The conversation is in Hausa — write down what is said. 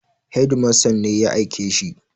Hedimasta ne ya aike shi.